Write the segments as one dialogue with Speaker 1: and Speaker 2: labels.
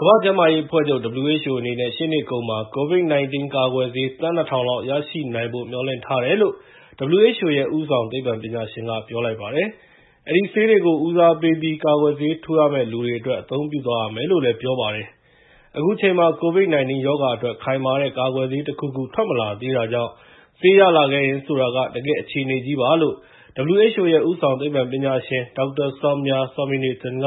Speaker 1: ကမ္ဘာ့ကျန်းမာရေးအဖွဲ့ချုပ် (WHO) အနေနဲ့ ရှေ့နှစ်အကုန်မှာ COVID-19 ကာကွယ်ဆေး သန်း ၂,၀၀၀ လောက် ရရှိနိုင်ဖို့ မျှော်လင့်ထားတယ်လို့ WHO ရဲ့ ဦးဆောင်သိပ္ပံပညာရှင်က ပြောလိုက်ပါတယ်။ အဲဒီဆေးတွေကို ဦးစားပေးပြီး ကာကွယ်ဆေးထိုးရမယ့်လူတွေအတွက် အသုံးပြုသွားရမယ်လို့ပြောပါတယ်။ အခုချိန်မှာ COVID-19 ရောဂါအတွက် ခိုင်မာတဲ့ ကာကွယ်ဆေးတခုခု ထွက်မလာသေးတာကြောင့် ဆေးရလာခဲ့ရင် ဆိုတာက တကယ့်အခြေအနေကြီးပါလို့ WHO ရဲ့ ဦးဆောင်သိပ္ပံပညာရှင် Dr. Soumya Swaminathan က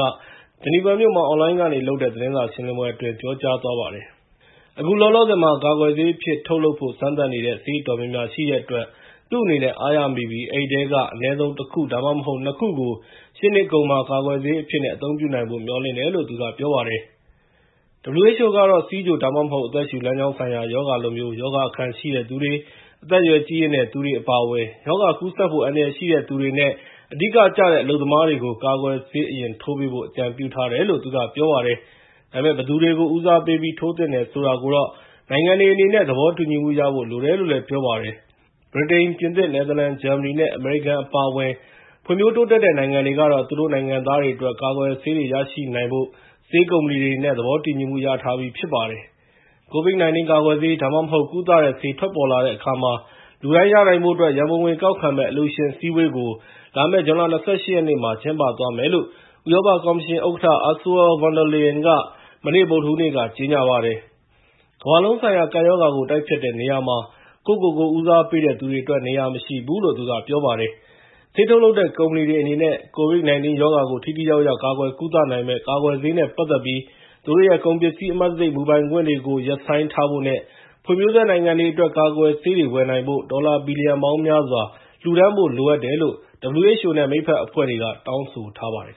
Speaker 1: ဂျီနီဗာမြို့မှာ အွန်လိုင်းကနေလုပ်တဲ့ သတင်းစာရှင်းလင်းပွဲအတွင်း ပြောသွားပါတယ်။ အခုလောလောဆယ်မှာ ကာကွယ်ဆေးအဖြစ်နဲ့ ထုတ်လုပ်နိုင်ဖို့ စမ်းသပ်နေတဲ့ ဆေးအတော်များများ ရှိတဲ့အတွက် သူ့အနေနဲ့ အားရမိပြီး အဲဒီထဲက အနည်းဆုံး ၁ ခု ဒါမှမဟုတ် ၂ ခုကို ရှေ့နှစ်အကုန်မှာ ကာကွယ်ဆေးအဖြစ်နဲ့ အသုံးပြုနိုင်ဖို့ မျှော်လင့်တယ်လို့ သူက ပြောပါတယ်။ WHO ကတော့ ဆီးချို ဒါမှမဟုတ် အသက်ရှုလမ်းကြောင်းဆိုင်ရာ ရောဂါလိုမျိုး ရောဂါအခံရှိတဲ့သူတွေ၊ အသက်အရွယ်ကြီးရင့်သူတွေ အပါအဝင် ရောဂါကူးစက်ဖို့ အန္တရာယ်ရှိတဲ့သူတွေနဲ့ အဓိကကျတဲ့ အလုပ်သမားတွေ ကို ကာကွယ်ဆေး အရင်ထိုးပေးဖို့ အကြံပြုထားတယ်လို့ သူကပြောပါတယ်။ ဒါပေမဲ့ ဘယ်သူတွေကို ဦးစားပေးပြီး ထိုးသင့်တယ်ဆိုတာကိုတော့ နိုင်ငံတွေအနေနဲ့ သဘောတူညီမှုရဖို့လိုတယ်လို့လည်း ပြောပါတယ်။ ဗြိတိန်၊ ပြင်သစ်၊ နယ်သာလန်၊ ဂျာမနီနဲ့ အမေရိကန်အပါဝင် ဖွံ့ဖြိုတိုးတက်တဲ့ နိုင်ငံတွေကတော့ သူတို့နိုင်ငံ သားတွေအတွက် ကာကွယ်ဆေးတွေရရှိနိုင်ဖို့ ဆေးကုမ္ပဏီတွေနဲ့ သဘောတူညီမှုတွေ ရထားပြီးဖြစ်ပါတယ်။ COVID-19 ကာကွယ်ဆေး ဒါမှမဟုတ် ကုသတဲ့ဆေး ထွက်ပေါ်လာတဲ့အခါမှာ လူတိုင်းရနိုင်ဖို့အတွက် ရန်ပုံငွေကောက်ခံမယ့် အလှူရှင်အစည်းအဝေးကို လာမယ့် ဇွန်လ ၂၈ ရက်နေ့မှာ ကျင်းပသွားမယ်လို့ ဥရောပကော်မရှင်ဥက္ကဋ္ဌ Ursual von der Leyen က မနေ့ ဗုဒ္ဓဟူးနေ့က ကြေငြာပါတယ်။ ကမ္ဘာလုံးဆိုင်ရာ ကပ်ရောဂါကို တိုက်ဖျက်တဲ့နေရာမှာ ကိုယ့်ကိုယ်ကို ဦးစားပေးတဲ့သူတွေအတွက် နေရာမရှိဘူးလို့ သူကပြောပါတယ်။ ဆေးထုတ်လုပ်တဲ့ကုမ္ပဏီတွေအနေနဲ့ COVID-19 ရောဂါကို ထိထိရောက်ရောက် ကာကွယ်ကုသနိုင်မယ့် ကာကွယ်ဆေးနဲ့ပတ်သက်ပြီး သူတို့ရဲ့ ကုန်ပစ္စည်း အမှတ်တံဆိပ်မူပိုင်ခွင့်တွေကို ရပ်ဆိုင်းထားဖို့နဲ့ ဖွံ့ဖြိုးဆဲနိုင်ငံတွေအတွက် ကာကွယ်ဆေးတွေ ဝယ်နိုင်ဖို့ ဒေါ်လာဘီလီယံပေါင်းများစွာ လှူဒါန်းဖို့လိုအပ်တယ်လို့ WHO နဲ့ မိတ်ဖက်အဖွဲ့တွေက တောင်းဆိုထားပါတယ်